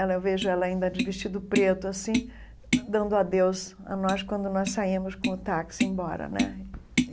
Ela eu vejo ela ainda de vestido preto, assim, dando adeus a nós, quando nós saímos com o táxi embora né.